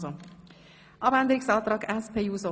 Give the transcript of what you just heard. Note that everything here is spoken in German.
Sie haben diesen Antrag abgelehnt.